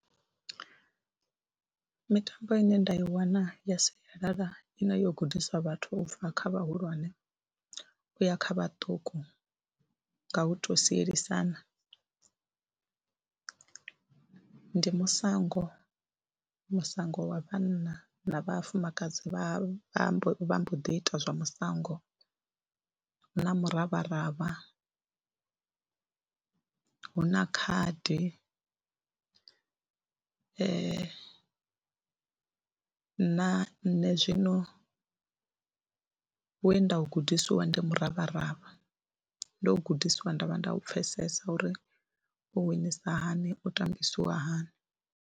Mitambo ine nda i wana ya sialala ine yo gudiswa vhathu u bva kha vhahulwane u ya kha vhaṱuku nga u tou sielisana ndi musango, musango wa vhanna na vhafumakadzi vha mbo vha mbo ḓi ita zwa musango. Hu na mravharavha, hu na khadi na nṋe zwino we nda u gudisiwa ndi muravharavha, ndo u gudisiwa nda vha nda u pfhesesa uri u winisa hani, u tambisiwa hani.